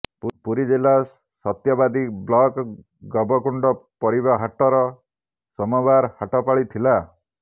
ପୁରୀଜିଲା ସତ୍ୟବାଦୀବ୍ଲକ ଗବକୁଣ୍ଡ ପରିବା ହାଟର ସୋମବାର ହାଟପାଳି ଥିଲା